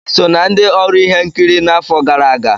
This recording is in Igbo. Ị so na ndị ọrụ ihe nkiri n'afọ gara aga?